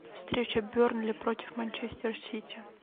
встреча бернли против манчестер сити